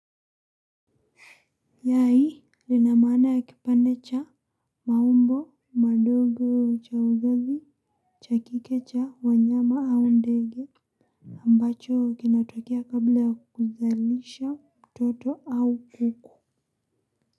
Yai lina maana ya kipande cha maumbo madogo cha uzazi cha kike cha wanyama au ndege ambacho kinatokea kabla ya kuzalisha mtoto au kuku.